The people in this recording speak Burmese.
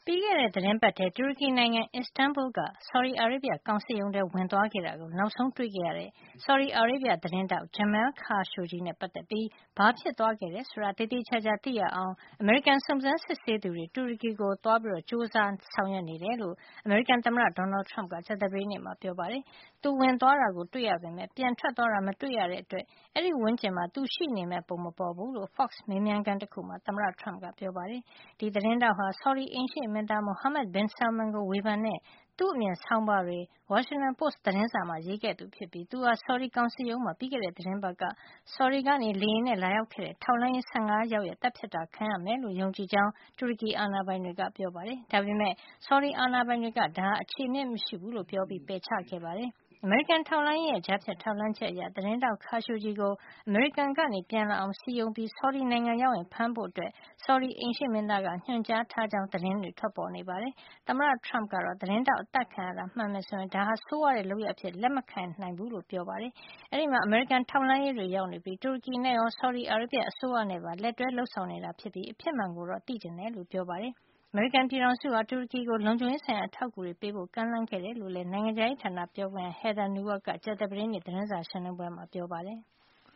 ီးခဲ့တဲ့ သီတင်းပတ်ထဲ တူရကီနိုင်ငံ Istanbul က ဆော်ဒီအာရေဗျ ကောင်စစ်ရုံးထဲ ဝင်သွားခဲ့တာကို နောက်ဆုံးတွေ့ခဲ့ရတဲ့ ဆော်ဒီအာရေဗျ သတင်းထောက် Jamal Khashoggi နဲ့ ပတ်သက်ပြီး ဘာဖြစ်သွားခဲ့တယ် ဆိုတာကို သေသေချာချာ သိရအောင် အမေရိကန် စုံစမ်းစစ်ဆေးသူတွေ တူရကီကို သွားပြီး ကြိုးစားနေတယ်လို့ အမေရိကန် သမ္မတ Donald Trump ကကြာသပတေးနေ့မှာ ပြောပါတယ်။ သူဝင်သွားတာတွေ့ရပေမယ့် ပြန်ထွက်သွားတာကို မတွေ့ရတဲ့အတွက် အဲဒီဝန်းကျင်မှာ သူရှိနေမယ့်ပုံ မပေါ်ဘူးလို့ Fox မေးမြန်းခန်းတခုမှာ သမ္မတ Trump ကပြောပါတယ်။ ဒီသတင်းထောက်ဟာ ဆော်ဒီအိမ်ရှေ့မင်းသား Mohammed bin Salman ကို ဝေဖန်တဲ့ သူ့အမြင်ဆောင်းပါးတွေ Washington Post သတင်းစာမှာ ရေးခဲ့သူဖြစ်ပြီး သူဟာ ဆော်ဒီ ကောင်စစ်ရုံးမှာ ပြီးခဲ့တဲ့ သီတင်းပတ်က ဆော်ဒီကလေယာဉ်နဲ့ လာရောက်တဲ့ ထောက်လှန်းရေး ၁၅ ယောက်က သတ်ဖြတ်တာခံရမယ်လို့ ယုံကြည်ကြောင်း တူရကီအာဏာပိုင်တွေကပြောပါတယ်။ ဒါပေမယ့် ဆော်ဒီအာဏာပိုင်တွေက ဒါဟာ မခြေအမြစ်မရှိဘူးလို့ ပြောပြီး ပယ်ချခဲ့ပါတယ်။ အမေရိကန် ထောက်လှမ်းရေးရဲ့ ကြားဖြတ်ထောက်လှမ်းချက်အရ သတင်းထောက် Khashoggi ကို အမေရိကန်ကနေ ပြန်လာအောင် စည်းရုံးပြီး၊ ဆော်ဒီနိုင်ငံရောက်ရင် ဖမ်းဆီးဖို့ ဆော်ဒီအိမ်ရှေ့မင်းသားက ညွှန်ကြားထားကြောင်းလည်း သတင်းတွေ ထွက်ပေါ်နေပါတယ်။ သမ္မတ Trump ကတော့ သတင်းထောက် အသတ်ခံရတာ မှန်ခဲ့မယ်ဆိုရင်တော့ ဒါဟာ ဆိုးရွားတဲ့ လုပ်ရပ်အဖြစ် လက်ခံနိုင်မှာ မဟုတ်ကြောင်း ပြောဆိုခဲ့ပါတယ်။ အဲဒီမှာ အမေရိကန် ထောက်လှန်းရေးတွေရောက်နေပြီး တူရကီနဲ့ရော ဆော်ဒီအာရေဗျ အစိုးရနဲ့ပါ လက်တွဲ လုပ်ဆောင်နေတာ ဖြစ်ပြီး အဖြစ်မှန်ကို သိချင်တယ်လို့ ပြောပါတယ်။ အမေရိကန်ပြည်ထောင်စုဟာ တူရကီကို လုံခြုံရေး ဆိုင်ရာ အထောက်အကူတွေ ပေးဖို့ ကမ်းလှမ်းခဲ့တယ်လို့လည်း နိုင်ငံခြားရေးဌာန ပြောခွင့်ရ Heather Nauert ကကြာသပတေးနေ့ သတင်းစာ ရှင်းလင်းပွဲမှာ ပြောပါတယ်။